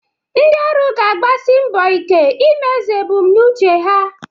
Ndị ọrụ ga-agbasi mbọ ike imezu ebumnuche ha.